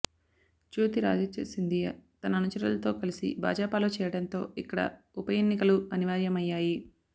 జ్యోతిరాధిత్య సింథియా తన అనుచరులతో కలిసి భాజపాలో చేరడంతో ఇక్కడ ఉప ఎన్నికలు అనివార్యమయ్యాయి